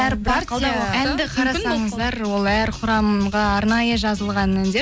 әр партия әнді қарасаңыздар ол әр құрамға арнайы жазылған әндер